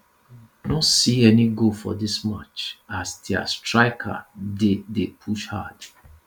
no see any goal for dis match as dia strikers dey dey push hard